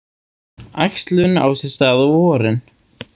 Æxlun á sér stað á vorin.